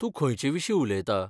तूं खंयचे विशीं उलयता?